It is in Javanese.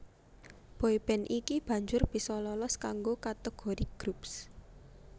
Boy band iki banjur bisa lolos kanggo kategori Groups